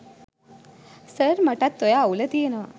sir මටත් ඔය අවුල තියනව